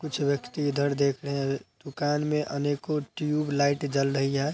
कुछ व्यक्ति इधर देख रहें हैं दुकान में अनेको टयूबलाइट जल रही है।